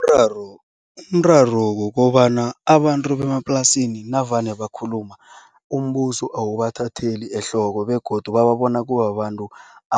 Umraro umraro kukobana abantu bemaplasini navane bakhuluma, umbuso awubathatheli ehloko begodu bababona kubabantu